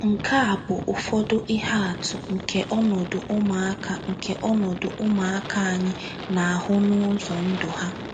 Nke a bụ ụfọdụ ihe atụ nke ọnọdụ ụmụaka nke ọnọdụ ụmụaka anyị na-ahụ n’ụzọ ndụ ha.